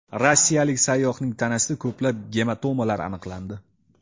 Rossiyalik sayyohning tanasida ko‘plab gematomalar aniqlandi.